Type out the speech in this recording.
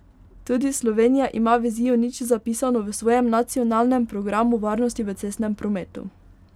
Tudi Slovenija ima vizijo nič zapisano v svojem nacionalnem programu varnosti v cestnem prometu.